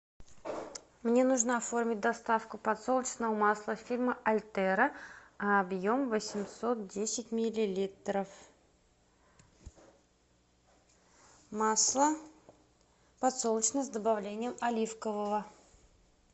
мне нужно оформить доставку подсолнечного масла фирмы альтера объем восемьсот десять миллилитров масло подсолнечное с добавлением оливкового